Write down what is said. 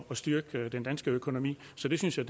styrke den danske økonomi så det synes jeg